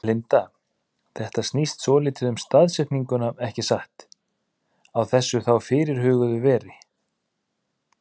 Linda: Þetta snýst svolítið um staðsetninguna ekki satt, á þessu þá fyrirhuguðu veri?